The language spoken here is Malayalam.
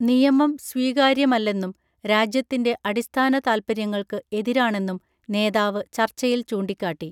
നിയമം സ്വീകാര്യമല്ലെന്നും രാജ്യത്തിൻറെ അടിസ്ഥാന താത്പര്യങ്ങൾക്ക് എതിരാണെന്നും നേതാവ് ചർച്ചയിൽ ചൂണ്ടിക്കാട്ടി